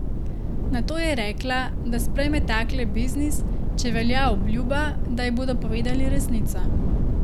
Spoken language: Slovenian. Nato je rekla, da sprejme takle biznis, če velja obljuba, da ji bodo povedali resnico.